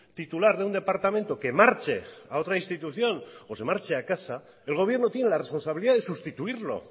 titular de un departamento que marche a otra institución o se marche a casa el gobierno tiene la responsabilidad de sustituirlo